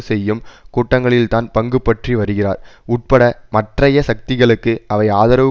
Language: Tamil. செய்யும் கூட்டங்களில்தான் பங்குபற்றி வருகிறார் உட்பட மற்றய சக்திகளுக்கு அவை ஆதரவு